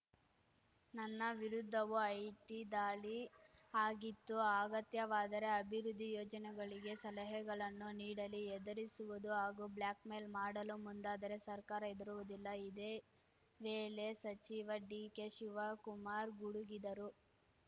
ನನ್ನ ವಿರುದ್ದವೂ ಐಟಿ ದಾಳಿ ಆಗಿತ್ತು ಅಗತ್ಯವಾದರೆ ಅಭಿವೃದ್ಧಿ ಯೋಜನೆಗಳಿಗೆ ಸಲಹೆಗಳನ್ನು ನೀಡಲಿ ಹೆದರಿಸುವುದು ಹಾಗೂ ಬ್ಲ್ಯಾಕ್‌ಮೇಲ್‌ ಮಾಡಲು ಮುಂದಾದರೆ ಸರ್ಕಾರ ಹೆದರುವುದಿಲ್ಲ ಇದೇ ವೇಳೆ ಸಚಿವ ಡಿಕೆಶಿವಕುಮಾರ್ ಗುಡುಗಿದರು